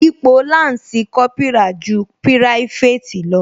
Ipò lansi Kópírà ju private lọ